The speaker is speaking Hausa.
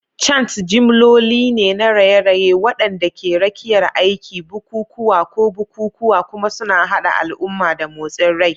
Chants jimloli ne na raye-raye waɗanda ke rakiyar aiki, bukukuwa, ko bukukuwa, kuma suna haɗa al'umma da motsin rai.